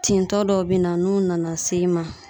Tintɔ dɔw be na, n'u nana s'e ma